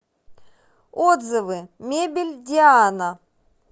отзывы мебель диана